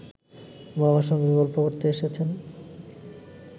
বাবার সঙ্গে গল্প করতে এসেছেন